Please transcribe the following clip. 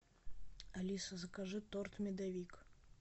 алиса закажи торт медовик